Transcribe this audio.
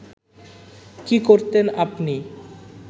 কী করতেন আপনি